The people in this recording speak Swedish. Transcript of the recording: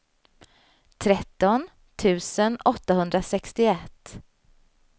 tretton tusen åttahundrasextioett